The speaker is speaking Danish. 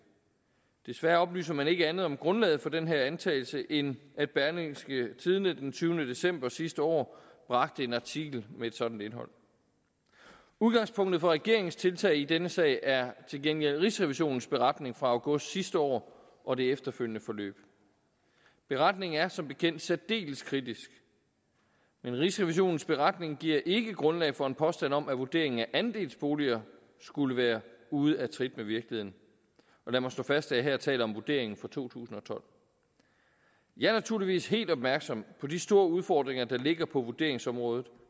desværre oplyser man ikke andet om grundlaget for den her antagelse end at berlingske den tyvende december sidste år bragte en artikel med et sådant indhold udgangspunktet for regeringens tiltag i denne sag er til gengæld rigsrevisionens beretning fra august sidste år og det efterfølgende forløb beretningen er som bekendt særdeles kritisk men rigsrevisionens beretning giver ikke grundlag for en påstand om at vurderingen af andelsboliger skulle være ude af trit med virkeligheden og lad mig slå fast at jeg her taler om vurderingen fra to tusind og tolv jeg er naturligvis helt opmærksom på de store udfordringer der ligger på vurderingsområdet